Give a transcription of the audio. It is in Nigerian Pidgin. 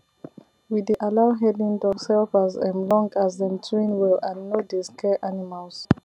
we dey allow herding dogs help as um long as dem train well and no dey scare animals